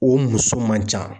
O muso man ca.